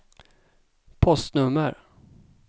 postnummer